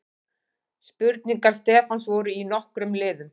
Spurningar Stefáns voru í nokkrum liðum.